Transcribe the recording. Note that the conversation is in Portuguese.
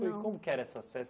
Não Como que eram essas festas?